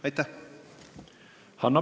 Aitäh!